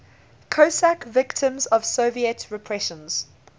cossack victims of soviet repressions